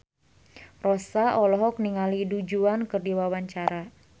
Rossa olohok ningali Du Juan keur diwawancara